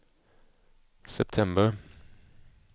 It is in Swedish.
september